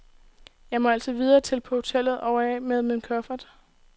Jeg må altså videre til på hotellet og af med min kuffert.